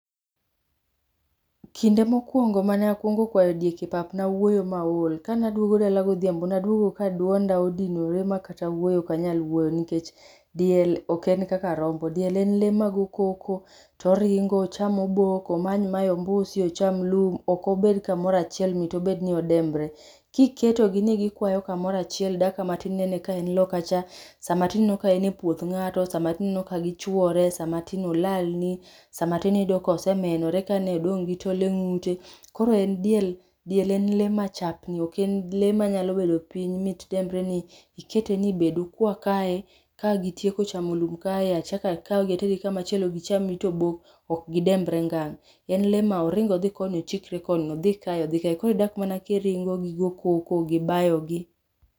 Kinde mokwongo manakwongo kwayo diek e pap nawuoyo maol. Kanaduogo dala godhiambo, naduogo ka duonda odinore makata wuoyo okanyal wuoyo, nikech diel oken kaka rombo. Diel en lee magoo koko, to oringo, ocham obok, omany mae ombusi, ocham lum. Okobed kamorachiel, mit obedni odembre. Kiketo gi ni gikwayo kamorachiel dakika matin inene ka en loka cha, sama tin ineno ka en e puoth ng'ato, sama tin ineno ka gichwore, sama tin olalni, sama tin iyudo ka osemienore kiani odong' gi tol e ng'ute. Koro en diel, diel en lee machapni. Oken lee manyalo bedo piny ni mit dembre ni ikete ni bed ukwa kae, kagitieko chamo lum kae achaka kaugi atergi kama chielo gicham it obok, okgidembre ngang'. En lee ma oring odhi koni, ochikre koni, odhi kae odhi kae, koro idak mana kiringo gigo koko gi bayo gi.